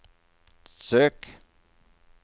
søk